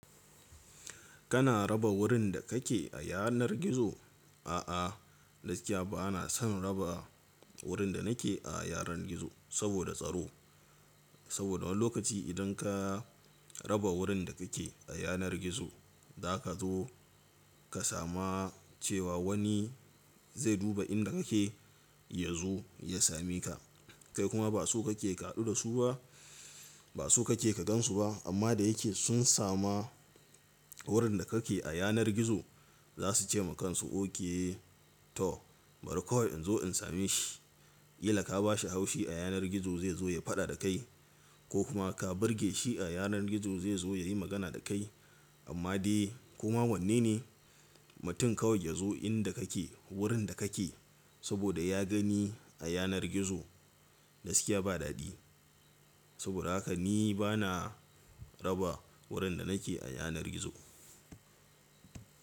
Kana raba wurin da kake a yanar gizo? A'a, gaskiya ba na son raba wurin da nake a yanar gizo saboda tsaro. Saboda wani lokaci idan ka raba wurin da kake a yanar gizo, za ka zo ka sama cewa wani zai duba inda kake ya zo ya same ka. Kai kuma ba su kake kaɗu da su ba, ba so kake ka gan su ba. Amma da yake sun sama wurin da kake a yanar gizo, za su ce ma kansu okay to bari kawai in zo in same shi. Killa ka ba shi haushi a yanar gizo zai zo yayi faɗa da kai ko kuma ka burge shi a yanar gizo zai zo ya yi magana da kai. Amma dai koma wanne ne mutum kawai ya zo inda kake, wurin da kake saboda ya gani a yanar gizo? Gaskiya ba dadi. Saboda haka ni ba na raba wurin da nake a yanar gizo.